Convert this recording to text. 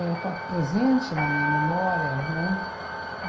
éh está presente na minha memória, né?